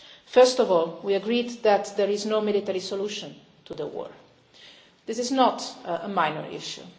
First of all, we agreed that there is no military solution to the war. This is not a minor